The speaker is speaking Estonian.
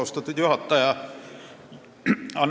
Austatud juhataja!